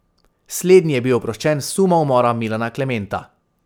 Slednji je bil oproščen suma umora Milana Klementa.